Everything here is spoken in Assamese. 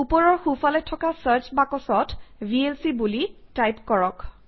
ওপৰৰ সোঁফালে থকা চাৰ্চ বাকচত ভিএলচি বুলি টাইপ কৰক